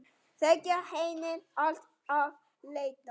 Segja henni allt af létta.